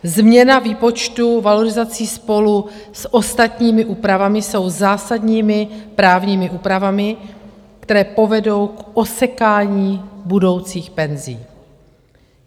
Změna výpočtu valorizací spolu s ostatními úpravami jsou zásadními právními úpravami, které povedou k osekání budoucích penzí.